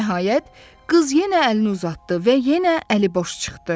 Nəhayət, qız yenə əlini uzatdı və yenə əliboş çıxdı.